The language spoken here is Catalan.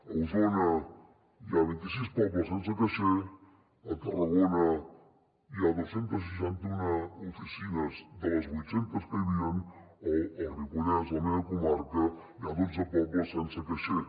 a osona hi ha vint i sis pobles sense caixer a tarragona hi ha dos cents i seixanta un oficines de les vuit centes que hi havia o al ripollès la meva comarca hi ha dotze pobles sense caixer